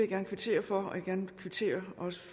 gerne kvittere for og jeg gerne kvittere